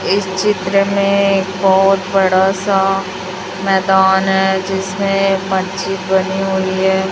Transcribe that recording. इस चित्र में एक बहोत बड़ा सा मैदान है जिसमें मस्जिद बनी हुई है।